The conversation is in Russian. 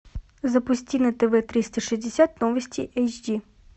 запусти на тв триста шестьдесят новости эйч ди